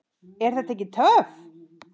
Er þetta ekki töff?